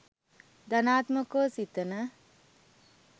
ධනාත්මකව සිතන